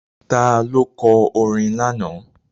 Ta ló kọ orin lánàá?